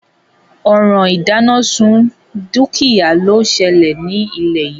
Òràn ìdánásun dúkìá ló selè nílé yìí